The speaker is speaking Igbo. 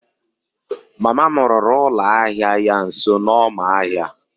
mama m rụrụ ụlọ ahịa ya nso n'ọma ahịa